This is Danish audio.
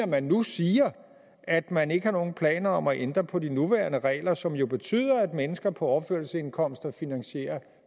man nu siger at man ikke har nogen planer om at ændre på de nuværende regler som jo betyder at mennesker på overførselsindkomster finansierer